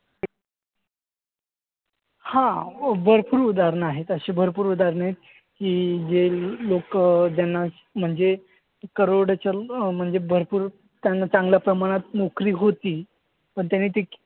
हां. भरपूर उदाहरणं आहेत अशी भरपूर उदाहरणं की जे लोकं म्हणजे करोडचंद अं म्हणजे भरपूर त्यांना चांगल्या प्रमाणात नोकरी होती. पण त्यांनी ती